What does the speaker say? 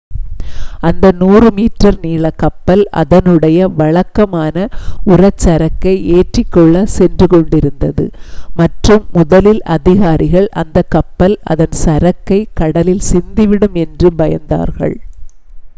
அந்த 100 மீட்டர் நீளக் கப்பல் அதனுடைய வழக்கமான உர சரக்கை ஏற்றிக் கொள்ளச் சென்று கொண்டிருந்தது மற்றும் முதலில் அதிகாரிகள் அந்த கப்பல் அதன் சரக்கை கடலில் சிந்திவிடும் என்று பயந்தார்கள்